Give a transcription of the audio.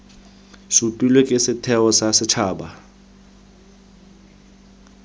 supilwe ke setheo sa setshaba